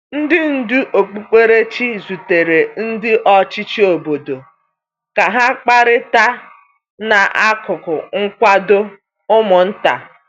Ndị ndú okpukperechi zutere ndị ọchịchị obodo ka ha kparịta n’akụkụ nkwado ụmụ nta.